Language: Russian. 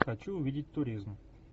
хочу увидеть туризм